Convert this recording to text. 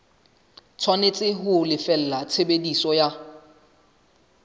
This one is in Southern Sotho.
tshwanetse ho lefella tshebediso ya